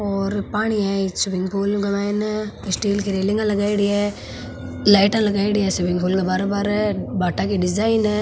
और पानी है इस स्विमिंग पूल के मायने स्टील की रैलिंग लगायड़ी है लाइटा लगायड़ी स्विमिंग पूल के बाहरे बाहरे भाटा की डिजाइन है।